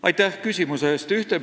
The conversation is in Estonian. Aitäh küsimuse eest!